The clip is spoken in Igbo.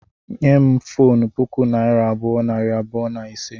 Nye m fonu puku naira abụọ, nari abụọ na ise